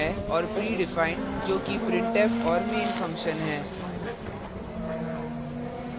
predefined जो कि printf और main function है